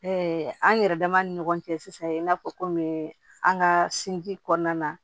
an yɛrɛ dama ni ɲɔgɔn cɛ sisan i n'a fɔ kɔmi an ka sinji kɔnɔna na